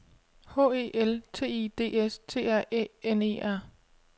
H E L T I D S T R Æ N E R